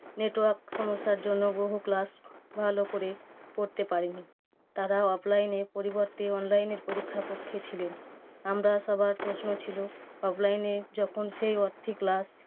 Network সমস্যার জন্য বহু class ভালো করে পড়তে পারেনি। তারা offline এর পরিবর্তে online এর পরীক্ষার পক্ষে ছিল। আমরা সবার প্রশ্ন ছিল, offline এ যখন সেই হচ্ছে class